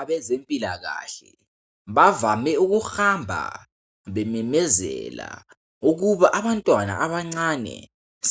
Abezempilakahle bavame ukuhamba bememezela ukuba abantwana abancane